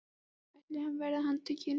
ætli hann verði handtekinn?